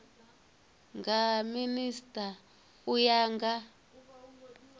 nga minisita u ya nga